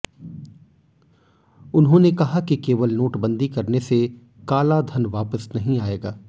उन्होंने कहा कि केवल नोटबंदी करने से कालाधन वापस नहीं आएगा